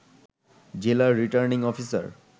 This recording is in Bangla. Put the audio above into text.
জেলা রিটার্নিং অফিসার